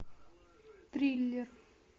триллер